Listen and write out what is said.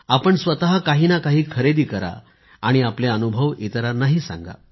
आपण स्वतः काही ना काही तरी खरेदी करा आणि आपले अनुभव इतरांनाही सांगा